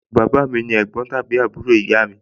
àǹtí mi ni ẹ̀gbọ́n tàbí àbúrò ìyá mi